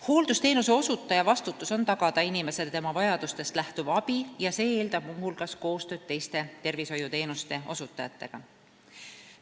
Hooldusteenuse osutaja vastutus on tagada inimesele tema vajadustest lähtuv abi ja see eeldab muuhulgas kootööd teiste tervishoiuteenuste osutajatega.